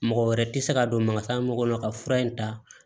Mɔgɔ wɛrɛ tɛ se ka don mangana mɔgɔ la ka fura in ta